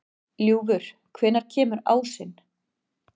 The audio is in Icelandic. Ljúfur, hvenær kemur ásinn?